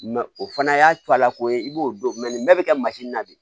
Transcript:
o fana y'a co ala ko ye i b'o don nin bɛɛ bi kɛ na de